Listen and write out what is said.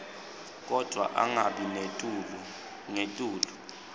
kodvwa angabi ngetulu